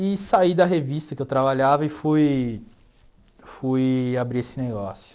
E saí da revista que eu trabalhava e fui fui abrir esse negócio.